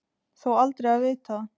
Þó aldrei að vita.